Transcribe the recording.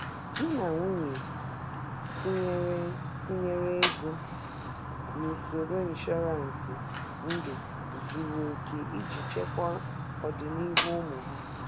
Di na nwunye tinyere tinyere ego n'usoro ịnshọransị ndụ zuru oke iji chekwa ọdịnihu ụmụ ha.